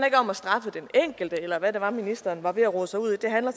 ikke om at straffe den enkelte eller hvad det var ministeren var ved at rode sig ud i det handler